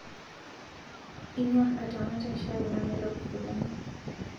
Inyor atamata chai namelok oleng